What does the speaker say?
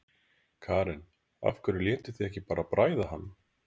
Karen: Af hverju létuð þið ekki bara bræða hann?